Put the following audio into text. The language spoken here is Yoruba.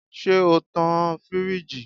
Ṣe o tan-an firiji?